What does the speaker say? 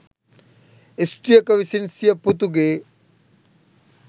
ස්ත්‍රියක විසින් සිය පුතුගේ